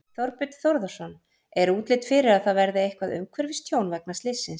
Þorbjörn Þórðarson: Er útlit fyrir að það verði eitthvað umhverfistjón vegna slyssins?